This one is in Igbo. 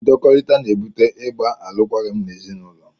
Ndọkọrita na-ebute ịgba alụkwaghịm n'ezinaụlọ.